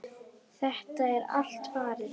Þetta er allt farið.